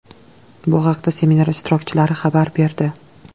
Bu haqda seminar ishtirokchilari xabar berdi.